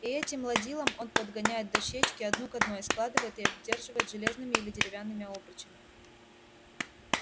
и этим ладилом он подгоняет дощечки одну к одной складывает и обдерживает железными или деревянными обручами